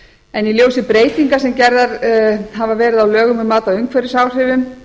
en í ljósi breytinga sem gerðar hafa verið á lögum um mat á umhverfisáhrifum